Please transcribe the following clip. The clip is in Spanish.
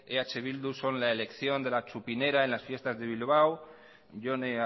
eh bildu son la elección de la txupinera en las fiestas de bilbao jone